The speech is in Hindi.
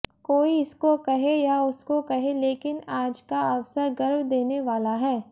कोई इसको कहे या उसको कहे लेकिन आज का अवसर गर्व देने वाला है